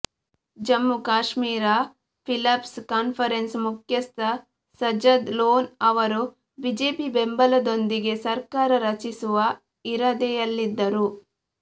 Jammu Kashmir people's ಕಾನ್ಫರೆನ್ಸ್ನ ಮುಖ್ಯಸ್ಥ ಸಜದ್ ಲೋನ್ ಅವರು ಬಿಜೆಪಿ ಬೆಂಬಲದೊಂದಿಗೆ ಸರ್ಕಾರ ರಚಿಸುವ ಇರಾದೆಯಲ್ಲಿದ್ದರು